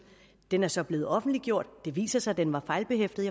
den er så blevet offentliggjort det viser sig den er fejlbehæftet